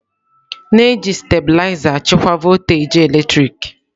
na-eji stabiliza achịkwa voltaji eletrik.